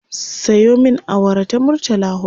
Sayo min awara ta murtala huɗu